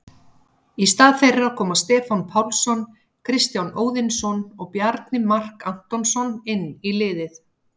Í stað þeirra koma Stefán Pálsson, Kristján Óðinsson og Bjarni Mark Antonsson inn í liðið.